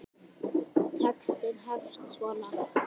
Textinn hefst svona